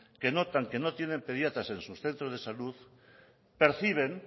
que notan que no tienen pediatras en sus centros de salud perciben